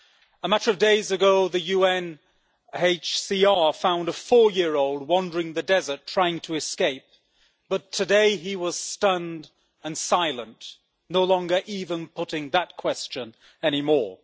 A matter of days ago, the UNHCR found a four year-old wandering the desert trying to escape, but today he was stunned and silent, no longer even putting that question anymore.